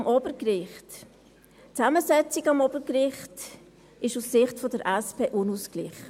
Zum Obergericht: Die Zusammensetzung am Obergericht ist aus der Sicht der SP unausgeglichen.